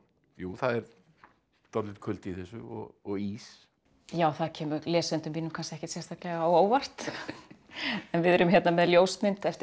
jú það er dálítill kuldi í þessu og ís já það kemur lesendum mínum kannski ekkert sérstaklega á óvart en við erum hérna með ljósmynd eftir